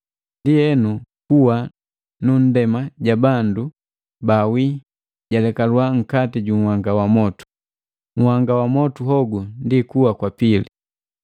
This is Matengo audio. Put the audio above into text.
Ndienu kuwa nu nndema ja bandu baawi yalekalwa nkati junhanga wa motu. Nhanga wa motu hogu ndi kuwa kwa pili.